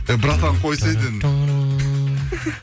эй братан қойсай дедім